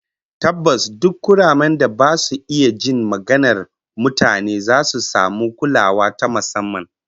Tabbas, duk kuramen da ba su iya jin maganar mutane zasu samu kulawa ta musamman